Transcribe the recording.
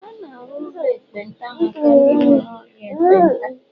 A na-arụ ụlọ ekpenta maka ndị nwere ọrịa ekpenta